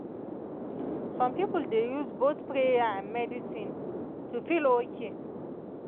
some people dey use both prayer and medicine to feel okay.